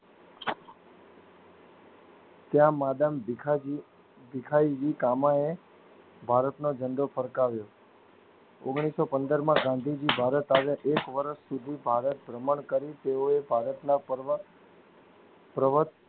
ત્યાં માદન ભીખજી ભીખાઈજી કમાયે ભારતનો ઝંડો ફરકાવ્યો ઓગણીસો પંદરમાં ગાંધીજી ભારત આવ્યા એક વર્ષ સુઘી ભારત ભર્મણ કરી તેઓએ ભારત માં પર્વ પર્વત